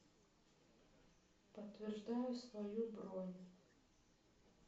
подтверждаю свою бронь